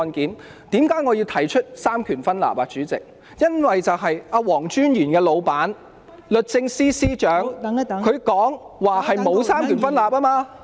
代理主席，我提及三權分立是因為黃專員的上司律政司司長說香港沒有三權分立。